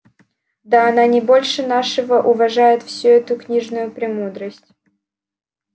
да она не больше нашего уважает всю эту книжную премудрость